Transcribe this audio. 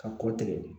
Ka kɔ tigɛ